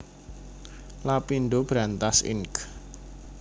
Lapindo Brantas Inc